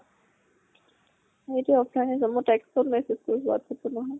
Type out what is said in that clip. সি টো offline এ, মই text ত message কৰিছো whatsapp ত নহয়